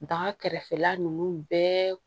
Baga kɛrɛfɛla ninnu bɛɛ